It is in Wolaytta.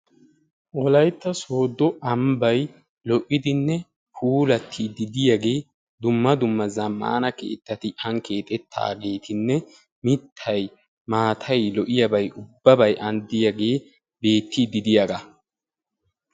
Wolaytta sooddo ambbay lo'iddinne puulattidi diyagee dumma dumma zaammaana keettati an keexxettaagettinne mittay maatay lo'iyaba ubbabay anidiyaagee beettiidi deiyaga.